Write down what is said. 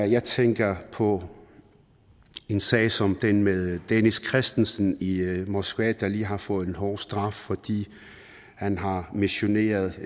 jeg tænker på en sag som den med dennis christensen i moskva der lige har fået en hård straf fordi han har missioneret